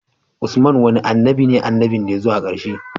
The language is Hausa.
Usman wane annabi ne annabin da yazo a karshe